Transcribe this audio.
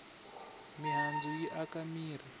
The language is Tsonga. mihandzu yi aka mirhi